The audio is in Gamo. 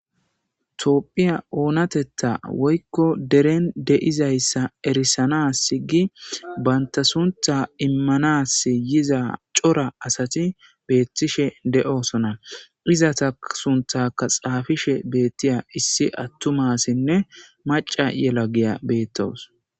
Tophiya oonatetha woyko deren de'izaysa erisana gi banta sunrha immanasi yiza cora asati betishe de'oaona izeta sunthaka xaafishe de'iza issi atuma asinne maca yelagiya betawus